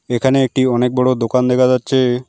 এখানে একটি অনেক বড় দোকান দেখা যাচ্ছে।